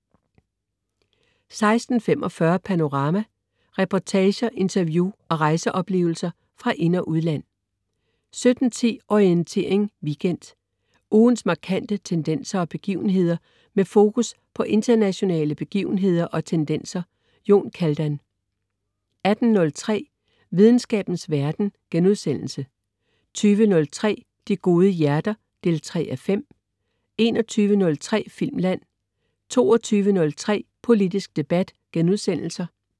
16.45 Panorama. Reportager, interview og rejseoplevelser fra ind- og udland 17.10 Orientering Weekend. Ugens markante tendenser og begivenheder, med fokus på internationale begivenheder og tendenser. Jon Kaldan 18.03 Videnskabens verden* 20.03 De Gode Hjerter 3:5* 21.03 Filmland* 22.03 Politisk debat*